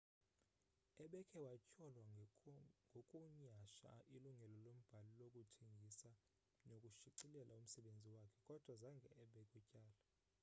ebekhe watyholwa ngokunyhasha ilungelo lombhali lokuthengisa nokushicilela umsebenzi wakhe kodwa zange abekwe tyala